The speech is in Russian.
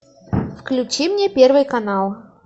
включи мне первый канал